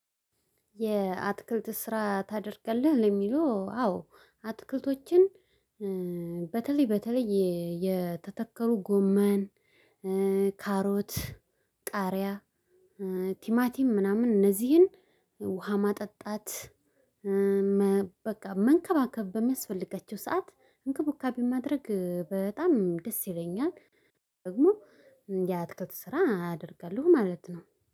የአትክልት ስራ ታደርጋለህ? ነው ለሚለው አዎ አትክልቶችን በተለይ በተለይ የተተከሉ ጎመን ካሮት ቃሪያ ቲማቲም ምናምን እነዚህን ውሃ ማጠጣት በቃ መንከባከብ በሚያስፈልጋቸው ሰዓት እንክብካቤ ማድረግ በጣም ደስ ይለኛል። ደግሞ የአትክልት ስራ አደርጋለሁ ማለት ነው።